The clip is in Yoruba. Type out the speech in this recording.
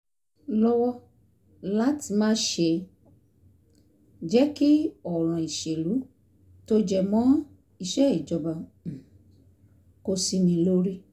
lọ́wọ́ láti má ṣe jẹ́ kí ọ̀ràn ìṣèlú tó jẹ mọ́ iṣẹ́ ìjọba um kó sí mi lórí